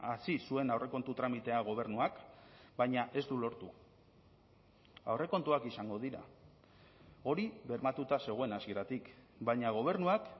hasi zuen aurrekontu tramitea gobernuak baina ez du lortu aurrekontuak izango dira hori bermatuta zegoen hasieratik baina gobernuak